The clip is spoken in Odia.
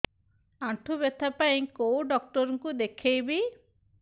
ଆଣ୍ଠୁ ବ୍ୟଥା ପାଇଁ କୋଉ ଡକ୍ଟର ଙ୍କୁ ଦେଖେଇବି